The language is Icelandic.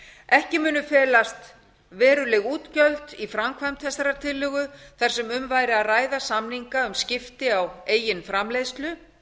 ekki munu felast veruleg útgjöld í framkvæmd þessarar tillögu þar sem um væri að ræða samninga um skipti á eigin framleiðslu